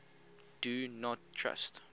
do not trust